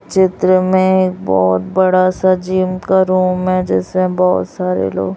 चित्र में बहोत बड़ा सा जिम का रूम मैं जैसे में बहोत सारे लोग--